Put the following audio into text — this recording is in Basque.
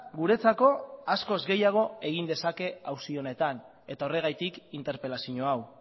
guretzako askoz gehiago egin dezake auzi honetan eta horregatik interpelazio hau